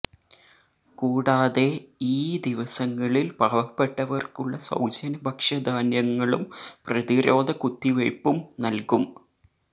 കൂടാതെ ഈ ദിവസങ്ങളില് പാവപ്പെട്ടവര്ക്കുള്ള സൌജന്യ ഭക്ഷ്യധാന്യങ്ങളും പ്രതിരോധ കുത്തിവയ്പ്പും നല്കും